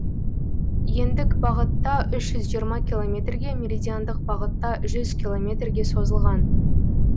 ендік бағытта үш жүз жиырма километрге меридиандық бағытта жүз километрге созылған